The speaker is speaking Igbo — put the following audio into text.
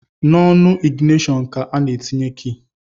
N’onu iginitọnu ka a na-etinye ki